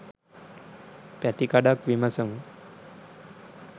පැතිකඩක් විමසමු.